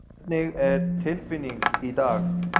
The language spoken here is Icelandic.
Hvernig er tilfinning í dag?